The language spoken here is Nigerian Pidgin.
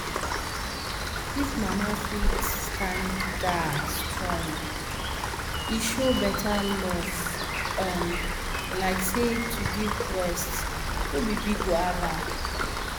if mama fit standa strong e show better love um like say to give breast no be big wahala